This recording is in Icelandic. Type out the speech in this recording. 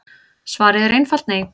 Svarið er einfalt nei.